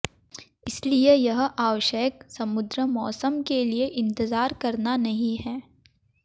इसलिए यह आवश्यक समुद्र मौसम के लिए इंतजार करना नहीं है